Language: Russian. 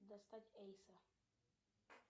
достать эйса